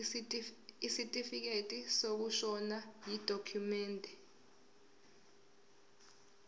isitifikedi sokushona yidokhumende